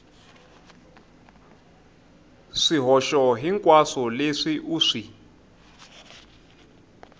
swihoxo hinkwaswo leswi u swi